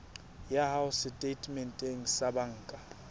ya hao setatementeng sa banka